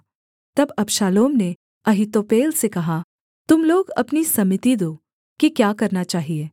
तब अबशालोम ने अहीतोपेल से कहा तुम लोग अपनी सम्मति दो कि क्या करना चाहिये